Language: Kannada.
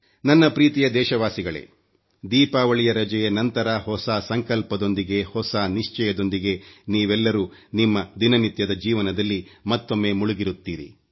ನನ್ನ ಪ್ರೀತಿಯ ದೇಶವಾಸಿಗಳೇ ದೀಪಾವಳಿಯ ರಜೆಯ ನಂತರ ಹೊಸ ಸಂಕಲ್ಪದೊಂದಿಗೆ ಹೊಸ ನಿಶ್ಚಯದೊಂದಿಗೆ ನೀವೆಲ್ಲರೂ ನಿಮ್ಮ ದಿನನಿತ್ಯದ ಜೀವನದಲ್ಲಿ ಮತ್ತೊಮ್ಮೆ ಮುಳುಗಿರುತ್ತೀರಿ